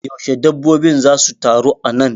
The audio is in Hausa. Yaushe dabbobin za su taru a nan?